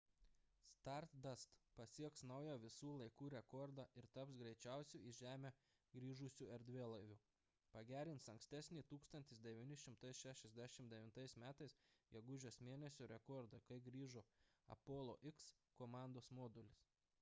stardust pasieks naują visų laikų rekordą ir taps greičiausiu į žemę grįžusiu erdvėlaiviu pagerins ankstesnį 1969 m gegužės mėn. rekordą kai grįžo apollo x komandos modulis